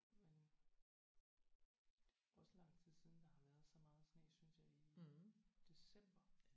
Men det er jo også lang tid siden der har været så meget sne synes jeg i december